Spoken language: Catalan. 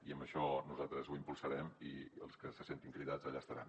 i això nosaltres ho impulsarem i els que se sentin cridats allà estaran